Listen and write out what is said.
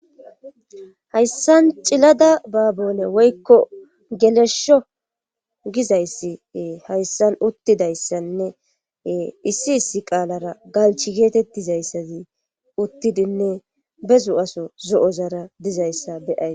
hayssan cilada baabone woykko gelesho gizayssie hayssan uttidayssanne issi issi qaalara galchi geetettizayssazi uttidinne bezu7aso zo7ozara dizayssa beyays